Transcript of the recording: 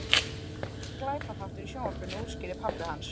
Gamall glæpaþáttur í sjónvarpinu- útskýrði pabbi hans.